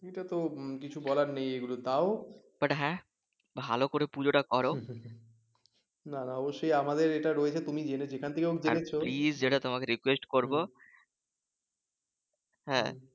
এটা তো কিছু বলার নেই এগুলো তাও